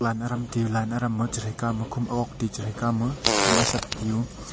line adam tiyu line adam ma chesai kawma kom agog taiyu chesai kawma kom asat tiyu.